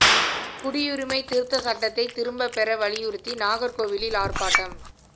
குடியுரிமை திருத்தச் சட்டத்தை திரும்பப் பெற வலியுறுத்தி நாகா்கோவிலில் ஆா்ப்பாட்டம்